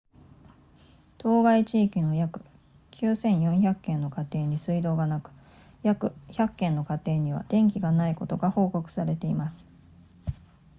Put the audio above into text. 当該地域の約9400軒の家庭に水道がなく約100軒の家庭には電気がないことが報告されています